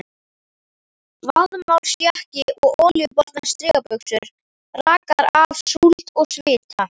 Vaðmálsjakki og olíubornar strigabuxur rakar af súld og svita.